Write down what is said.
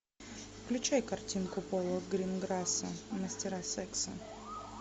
включай картинку пола гринграсса мастера секса